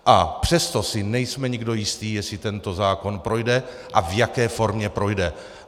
A přesto si nejsme nikdo jistí, jestli tento zákon projde a v jaké formě projde.